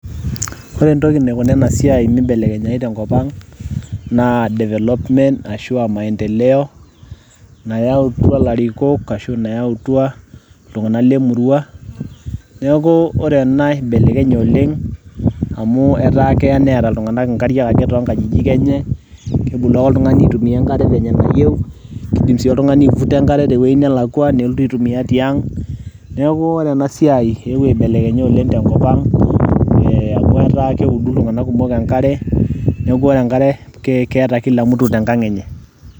ore entoki naikuna ena siai mibelekenyayu tenkop ang naa development ashu aamaendeleo. nayautua ilarikok ashu a nayautua iltunganak le murua neeku ore ena ibelekenye oleng, amu keeya neeta iltunganak nkariak ake tooo nkajijik enye. kebolu ake oltungani atumia enkare te nkaji enye venye nayieu. kidim sii oltungani ai vuta nelotu aitumia tiang' neku ore ena siai eewuo aibelekenya oleng tenkop ang' amu etaa keudu iltunganak kumok enkare, neeku ore enkare keta kila mut tenkang enye.